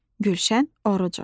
Gülşən Orucova.